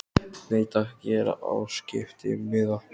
Nei takk, ég er á skiptimiða.